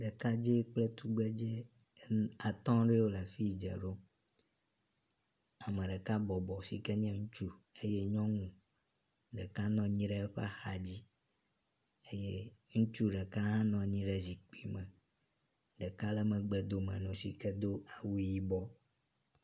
Ɖekadzɛ kple tugbedzɛ ene atɔ́ ɖewo lafi dze ɖom ameɖeka bɔbɔ sike nye ŋutsu eye nyɔnu ɖeka nɔnyi ɖe eƒe axadzi eye ŋutsu ɖeka ha nɔnyi ɖe zikpi me ɖeka le megbedome nowo sike dó awu yibɔ